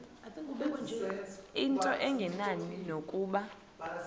into engenani nokuba